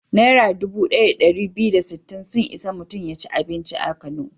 Naira dubu ɗaya da ɗari biyu da sittin sun isa mutum ya ci abinci a Kano.